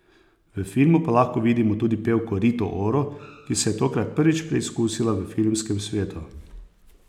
V filmu pa lahko vidimo tudi pevko Rito Oro, ki se je tokrat prvič preizkusila v filmskem svetu.